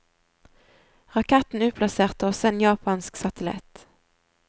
Raketten utplasserte også en japansk satellitt.